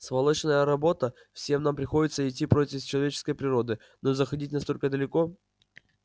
сволочная работа всем нам приходится идти против человеческой природы но заходить настолько далеко